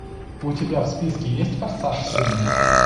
у тебя в списке есть форсаж семь